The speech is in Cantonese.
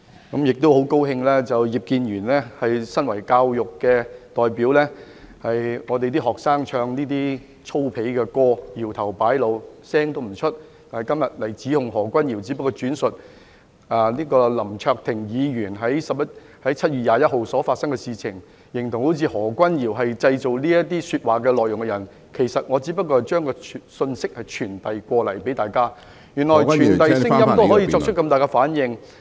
我亦十分高興葉建源議員身為教育界代表，當香港學生唱這些粗鄙的歌曲、搖頭擺腦時，他不作聲，但今天卻在這裏指控何君堯，而我只是轉述林卓廷議員在7月21日所發生的事情，他竟形容得好像我才是製造這些說話內容的人，其實我只是向大家傳遞有關的信息，原來傳遞聲音也可以令他作出如此大的反應......